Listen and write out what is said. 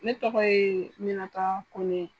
Ne tɔgɔ ye Minata Kone.